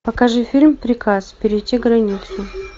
покажи фильм приказ перейти границу